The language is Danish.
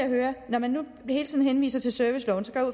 høre når man nu hele tiden henviser til serviceloven